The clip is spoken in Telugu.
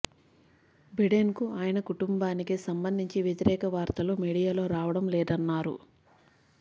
బిడెన్కు ఆయన కుటుంబానికి సంబంధించి వ్యతిరేక వార్తలు మీడియాలో రావడం లేదన్నారు